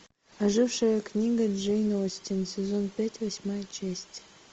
ожившая книга джейн остин сезон пять восьмая часть